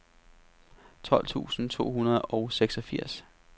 tolv tusind to hundrede og seksogfirs